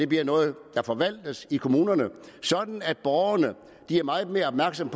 bliver noget der forvaltes i kommunerne sådan at borgerne bliver meget mere opmærksomme